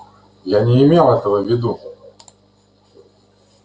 я не имел этого в виду